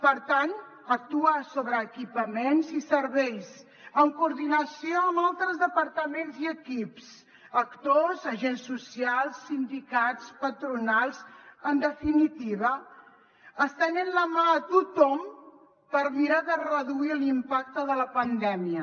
per tant actuar sobre equipaments i serveis en coordinació amb altres departaments i equips actors agents socials sindicats patronals en definitiva estenent la mà a tothom per mirar de reduir l’impacte de la pandèmia